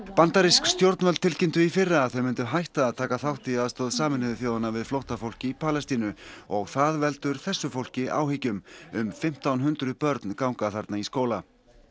bandarísk stjórnvöld tilkynntu í fyrra að þau myndu hætta að taka þátt í aðstoð Sameinuðu þjóðanna við flóttafólk í Palestínu og það veldur þessu fólki áhyggjum um fimmtán hundruð börn ganga þarna í skóla